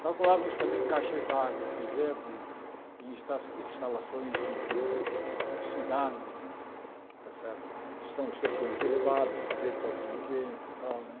Calculávamos também caixas d'água, por exemplo, e e insta instalações de cidades né está certo, que são estruturas elevadas, sujeitos à ação do vento e tal né.